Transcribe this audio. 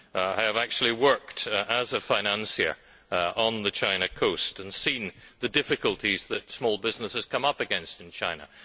I have actually worked as a financier on the China coast and seen the difficulties that small businesses come up against in China.